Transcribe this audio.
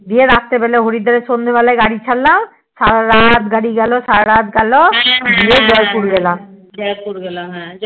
গিয়ে রাত্রি বেলা হরিদ্বার এ সন্ধেবেলা গাড়ি ছাড়লাম সারারাত গাড়ি গেলো সারারাত গেলো গিয়ে জয়পুর গেলাম